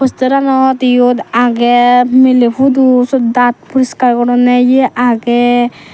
posteranot eyot agey miley pudu seyot daat poriskar gorondey yeh agey.